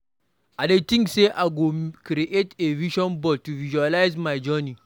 I dey think say I go create a vision board to visualize my journey.